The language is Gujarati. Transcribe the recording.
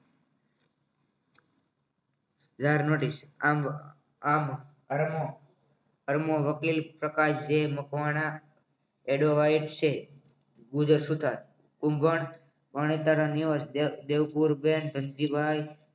જાહેર notice આમ આમ ફરમો વકીલ પ્રકાશ જે મકવાણા અડવોવાઈટ છે ગુજર સુથાર કુમ્ગંદ ના દેવપુર ધનજીભાઈ